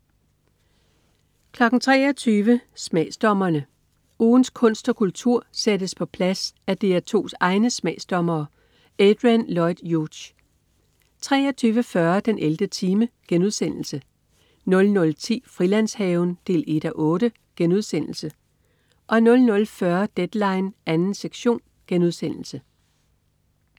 23.00 Smagsdommerne. Ugens kunst og kultur sættes på plads af DR2's egne smagsdommere. Adrian Lloyd Hughes 23.40 den 11. time* 00.10 Frilandshaven 1:8* 00.40 Deadline 2. sektion*